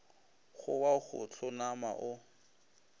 go wa go hlonama o